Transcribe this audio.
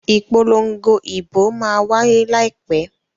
Ìpolongo ìbò máa wáyé láìpẹ́.